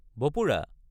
বপুৰা!